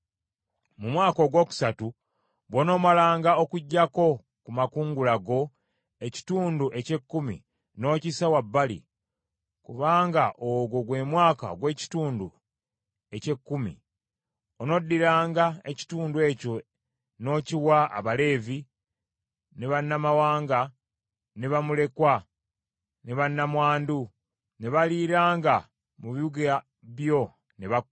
Mu mwaka ogwokusatu bw’onoomalanga okuggyako ku makungula go ekitundu eky’ekkumi n’okissa wabbali, kubanga ogwo gwe mwaka ogw’ekitundu eky’ekkumi, onoddiranga ekitundu ekyo n’okiwa Abaleevi, ne bannamawanga, ne bamulekwa, ne bannamwandu, ne baliiranga mu bibuga byo ne bakkuta.